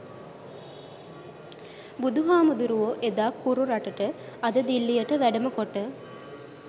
බුදුහාමුදුරුවෝ එදා කුරු රටට අද දිල්ලියට වැඩම කොට